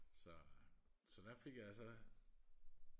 så øh så der fik jeg så